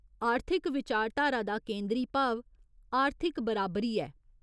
आर्थिक विचारधारा दा केंदरी भाव आर्थिक बराबरी ऐ।